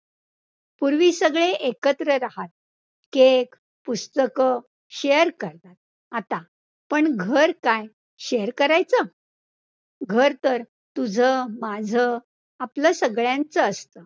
पूर्वी सगळे एकत्र रहात, cake, पुस्तकं share करतात, आता पण घर काय, share करायचं, घर तर तुझं, माझं, आपलं संगळ्यांच असतं.